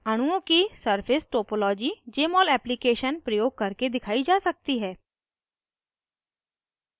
अणुओं की surface topology jmol application प्रयोग करके दिखाई जा सकती है